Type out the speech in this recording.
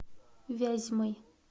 вязьмой